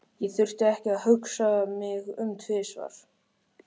Ég þurfti ekki að hugsa mig um tvisvar.